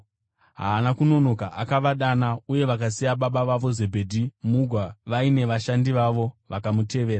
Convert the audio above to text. Haana kunonoka, akavadana, uye vakasiya baba vavo, Zebhedhi, mugwa vaine vashandi vavo, vakamutevera.